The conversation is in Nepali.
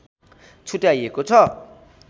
छुट्याइएको छ